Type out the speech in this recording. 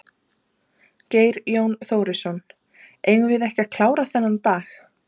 Geir Jón Þórisson: Eigum við ekki að klára þennan dag?